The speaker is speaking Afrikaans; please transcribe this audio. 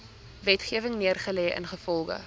wetgewing neergelê ingevolge